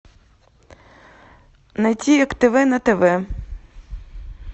найти як тв на тв